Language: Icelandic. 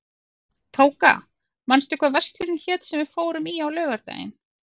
Tóka, manstu hvað verslunin hét sem við fórum í á laugardaginn?